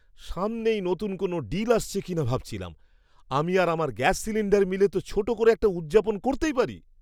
সামনেই নতুন কোনও ডিল আসছে কিনা ভাবছিলাম। আমি আর আমার গ্যাস সিলিণ্ডার মিলে তো ছোট করে একটা উদযাপন করতেই পারি!